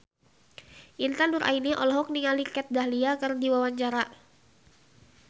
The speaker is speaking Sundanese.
Intan Nuraini olohok ningali Kat Dahlia keur diwawancara